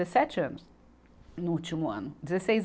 Dezessete anos no último ano. Dezesseis